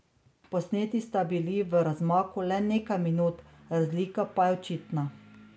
Posneti sta bili v razmaku le nekaj minut, razlika pa je očitna.